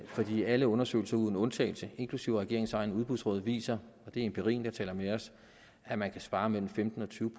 fordi alle undersøgelser uden undtagelse inklusive regeringens egne udbudsråd beviser og det er empirien der taler med os at man kan spare mellem femten og tyve